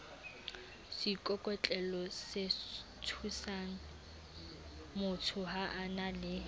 seikokotlelosethusangmotho ha a na le